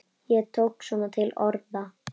Ég tók svona til orða.